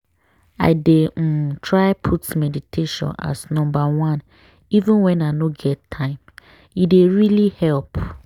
i dey um try put meditation as number oneeven when i no get time - e dey really help.